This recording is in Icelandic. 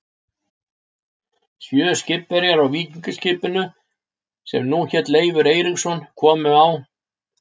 Sjö skipverjar á víkingaskipinu, sem nú hét Leifur Eiríksson, komu á